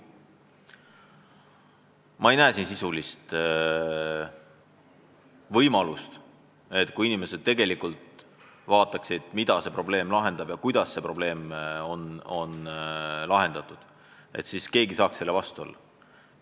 Ma ei näe siin võimalust, et kui inimesed tegelikult mõtleksid, mis probleemi see seadusmuudatus lahendaks ja kuidas lahendaks, et siis keegi saaks selle vastu olla.